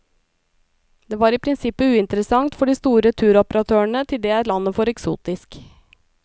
Det var i prinsippet uinteressant for de store turoperatørene, til det er landet for eksotisk.